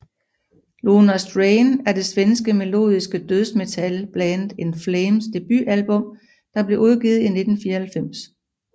Lunar Strain er det svenske melodiske dødsmetalband In Flames debutalbum der blev udgivet i 1994